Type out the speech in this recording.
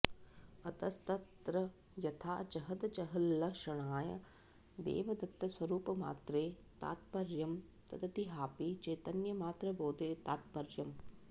अतस्तत्र यथा जहदजहल्लक्षणया देवदत्तस्वरुपमात्रे तात्पर्यं तद्वदिहापि चैतन्यमात्रबोधे तात्पर्यम्